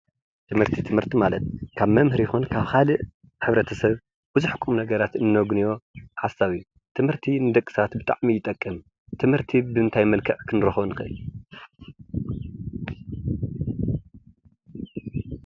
ትምህርቲ፡ ትምህርቲ ማለት ካብ መምህር ይኹን ካብ ካልእ ሕ/ሰብ ብዙሕ ቁም-ነገራት እነግንዮ ሓሳብ እዩ፡፡ ትምህርቲ ንደቂ ሰባት ብጣዕሚ ይጠቅም፡፡ ትምህርቲ ብምንታይ መልክዕ ክንረኽቦ ንኽእል፡፡